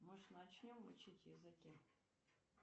может начнем учить языки